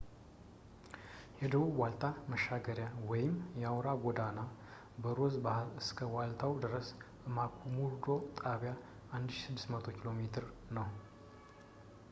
የደቡብ ዋልታ መሻገሪያ ወይም አውራ ጎዳና በሮዝ ባሕር እስከ ዋልታው ድረስ ከማክሙርዶ ጣቢያ 1600 ኪ.ሜ. ነው